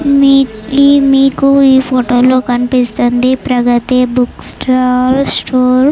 మీ మీకు ఈ ఫోటో లో కనిపిస్తోంది ప్రగతి బుక్ స్టాల్ స్టోర్ .